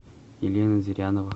елена зырянова